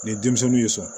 Ni denmisɛnninw y'i sɔrɔ